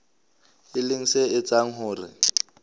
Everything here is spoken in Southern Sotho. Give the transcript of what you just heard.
e leng se etsang hore